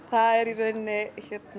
það er í rauninni